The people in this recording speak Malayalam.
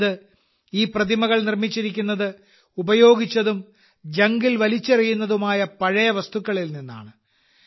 അതായത് ഈ പ്രതിമകൾ നിർമ്മിച്ചിരിക്കുന്നത് ഉപയോഗിച്ചതും ജങ്കിൽ വലിച്ചെറിയുന്നതുമായ പഴയ വസ്തുക്കളിൽ നിന്നാണ്